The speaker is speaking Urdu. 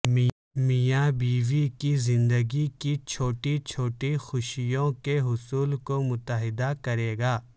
میاں بیوی کی زندگی کی چھوٹی چھوٹی خوشیوں کے حصول کو متحد کرے گا